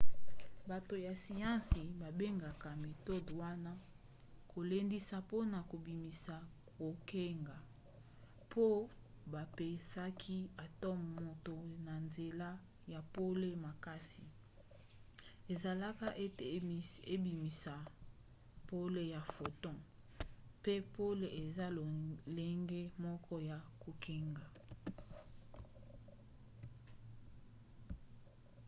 bato ya siansi babengaka metode wana kolendisa mpona kobimisa kongenga po bapesaki atome moto na nzela ya pole makasi esalaka ete ebimisisa pole ya photon pe pole eza lolenge moko ya kongenga